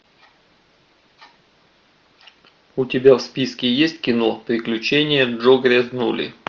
у тебя в списке есть кино приключения джо грязнули